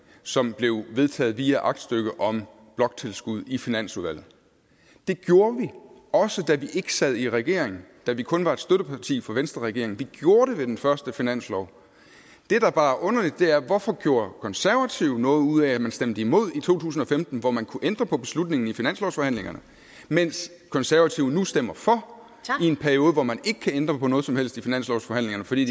som blev vedtaget via aktstykke om bloktilskud i finansudvalget det gjorde vi også da vi ikke sad i regering da vi kun var et støtteparti for venstreregeringen vi gjorde det ved den første finanslov det der bare er underligt er at hvorfor gjorde konservative noget ud af at man stemte imod i to tusind og femten hvor man kunne ændre på beslutningen i finanslovsforhandlingerne mens konservative nu stemmer for i en periode hvor man ikke kan ændre på noget som helst i finanslovsforhandlingerne fordi